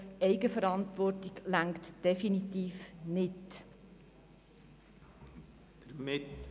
Eigenverantwortung reicht definitiv nicht aus.